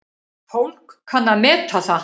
Fólk kann að meta það.